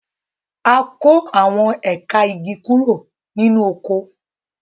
A kó àwọn ẹ̀ka igi kúrò nínú oko.